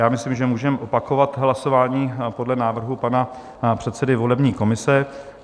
Já myslím, že můžeme opakovat hlasování podle návrhu pana předsedy volební komise.